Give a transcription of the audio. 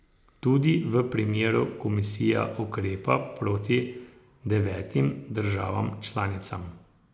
Tudi v tem primeru komisija ukrepa proti devetim državam članicam.